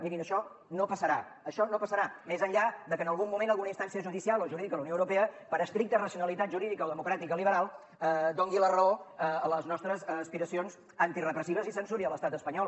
mirin això no passarà això no passarà més enllà de que en algun moment alguna instància judicial o jurídica de la unió europa per estricta racionalitat jurídica o democràtica liberal doni la raó a les nostres aspiracions antirepressives i censuri l’estat espanyol